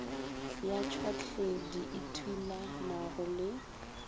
ya tšhwahledi e thulanago le